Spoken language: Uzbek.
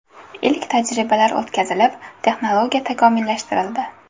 Ilk tajribalar o‘tkazilib, texnologiya takomillashtirildi.